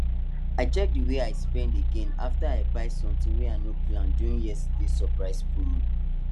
i check the way i spend again after i buy somtin wey i no plan during yesterday surprise promo